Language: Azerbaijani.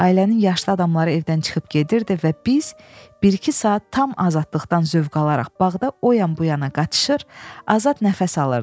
Ailənin yaşlı adamları evdən çıxıb gedirdi və biz bir-iki saat tam azadlıqdan zövq alaraq bağda o yan-bu yana qaçışır, azad nəfəs alırdıq.